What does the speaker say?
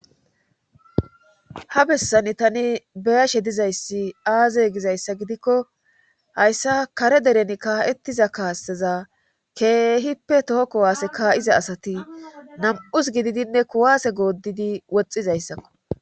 Ha bessani tani be7ashe dizayssi aaze gizayssa gidikko hayssa kare deren kaa7ettiza kaasteza keehippe toho kuwaase kaa7iza asati nam7us gididinne kuwaase goodidi woxxizayssakko.